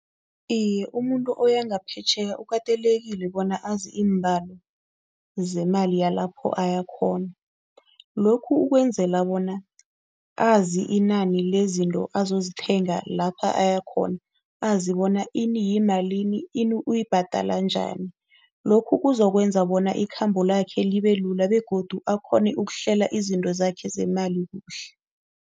Iye, umuntu oyangaphetjheya kukatelekile bona azi iimbalo zemali yalapho ayakhona. Lokhu ukwenzela bona azi inani lezinto azozithenga lapha ayakhona, azi bona ini yimalini, ini uyibhadala njani. Lokhu kuzokwenza bona ikhambo lakhe libelula begodu akghone ukuhlela izinto zakhe zemali kuhle.